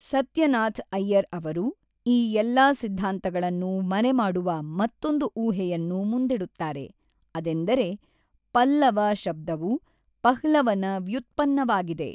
ಸತ್ಯನಾಥ್ ಐಯ್ಯರ್ ಅವರು ಈ ಎಲ್ಲಾ ಸಿದ್ದಾಂತಗಳನ್ನು ಮರೆಮಾಡುವ ಮತ್ತೊಂದು ಊಹೆಯನ್ನು ಮುಂದಿಡುತ್ತಾರೆ, ಅದೆಂದರೆ, ಪಲ್ಲವ ಶಬ್ದವು ಪಹ್ಲವನ ವ್ಯುತ್ಪನ್ನವಾಗಿದೆ.